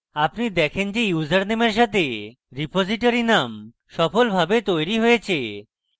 আপনি দেখেন যে ইউজারনামের সাথে repository name সফলভাবে তৈরী হয়েছে